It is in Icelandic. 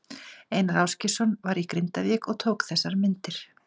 Einar Ásgeirsson var í Grindavík og tók þessar myndir.